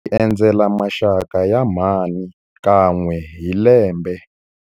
Hi endzela maxaka ya mhani kan'we hi lembe.